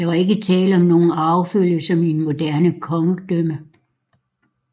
Der var ikke tale om nogen arvefølge som i et moderne kongedømme